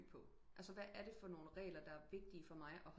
At dø på altså hvad er der for nogle regler der er vigtige for mig og